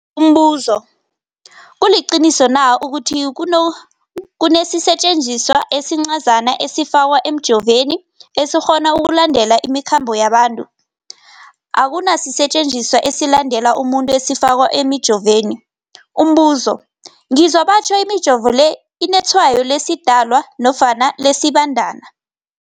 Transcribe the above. Umbuzo, kuliqiniso na ukuthi kunesisetjenziswa esincazana esifakwa emijovweni, esikghona ukulandelela imikhambo yabantu? Akuna sisetjenziswa esilandelela umuntu esifakwe emijoveni. Umbuzo, ngizwa batjho imijovo le inetshayo lesiDalwa nofana lesiBandana